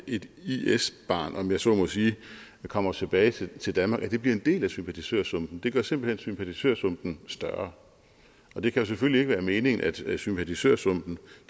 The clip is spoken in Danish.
et is barn om jeg så må sige kommer tilbage til danmark og bliver en del af sympatisørsumpen det gør simpelt hen sympatisørsumpen større og det kan selvfølgelig ikke være meningen at sympatisørsumpen